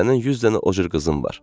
Sənin yüz dənə o cür qızın var.